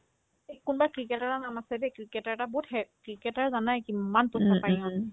এই কোনবা ক্ৰিকেটাৰৰ নাম আছে দেই ক্ৰিকেটাৰ এটা বহুত হে ক্ৰিকেটাৰ জানাই কিমান টকা পাই ইহতে